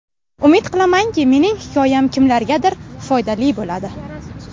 Umid qilamanki, mening hikoyam kimlargadir foydali bo‘ladi.